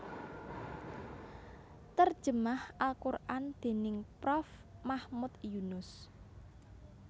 Terjemah al Qur an déning Prof Mahmud Yunus